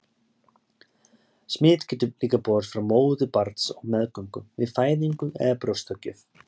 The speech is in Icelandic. Smit getur líka borist frá móður til barns á meðgöngu, við fæðingu eða brjóstagjöf.